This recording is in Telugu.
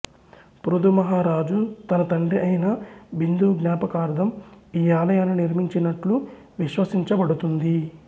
పృధుమహారాజు తనతండ్రి అయిన బిందు ఙాపకార్ధం ఈ ఆలయాన్ని నిర్మించినట్లు విశ్వసించబడుతుంది